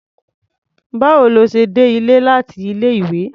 Báwo lo ṣe dé ilé láti ilé-ìwé?